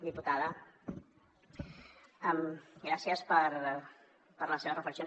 diputada gràcies per les seves reflexions